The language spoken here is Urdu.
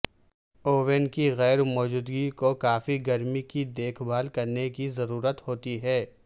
اون کی غیر موجودگی کو کافی گرمی کی دیکھ بھال کرنے کی ضرورت ہوتی ہے